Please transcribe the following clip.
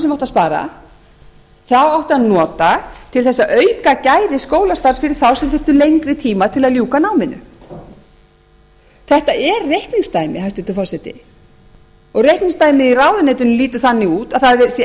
sem átti að spara þá átti að nota til þess að auka gæði skólastarfsins fyrir þá sem þurftu lengri tíma til að lengri tíma til að ljúka náminu þetta er reikningsdæmi hæstvirtur forseti og reikningsdæmið í ráðuneytinu lítur þannig út að það eigi